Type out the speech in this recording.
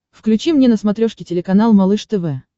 включи мне на смотрешке телеканал малыш тв